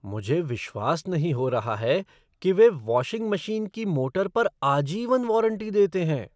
मुझे विश्वास नहीं हो रहा है कि वे वाशिंग मशीन की मोटर पर आजीवन वारंटी देते हैं।